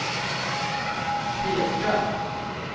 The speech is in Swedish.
peka